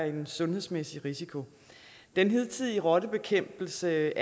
en sundhedsmæssig risiko den hidtidige rottebekæmpelse